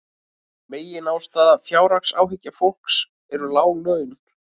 Meginástæða fjárhagsáhyggna fólks eru lág laun